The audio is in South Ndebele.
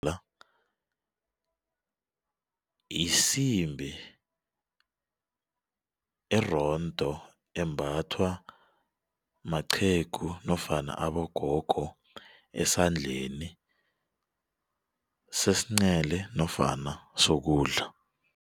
yisimbi erondo embathwa maqhegu nofana abogogo esandleni sesincele nofana sokudla.